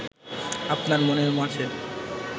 আপনার মনের মাঝে